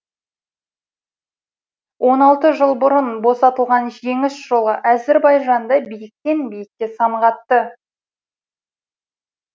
он алты жыл бұрын босталған жеңіс жолы әзірбайжанды биіктен биікке самғатты